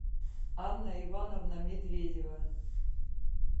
анна ивановна медведева